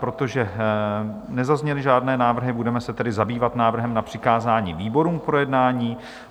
Protože nezazněly žádné návrhy, budeme se tedy zabývat návrhem na přikázání výborům k projednání.